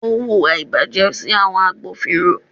Ó hùwà ìbàjẹ́ sí àwọn agbófinró.